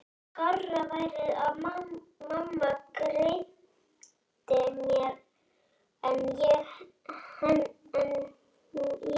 Skárra væri að mamma greiddi mér en ég henni.